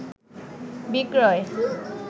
বিক্রয়